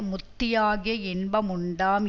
முத்தியாகிய இன்ப முண்டாம்